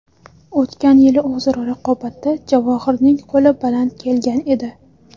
O‘tgan yili o‘zaro raqobatda Javohirning qo‘li baland kelgan edi.